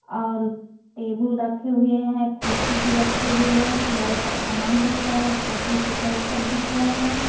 और टेबल रखे हुए हैं कुर्सी भी रखे हुई है बहुत सारे सामान दिख रहा है कॉपी पेपर वेपर दिख रहे हैं।